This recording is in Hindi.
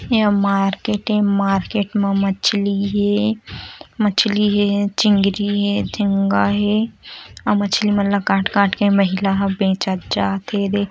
ए हा मार्केट हे मार्केट म मछली हे मछली हे चिंगरी हे झिंगा हे अव मछली मन ला काट काट के महिला ह बचत जाते हे एदे --